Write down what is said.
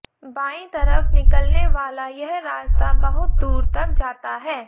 बाईं तरफ निकलने वाला यह रास्ता बहुत दूर तक जाता है